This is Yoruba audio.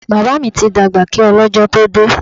Bàbá mi ti dàgbà kí ọ lọ́jọ́ tó dé.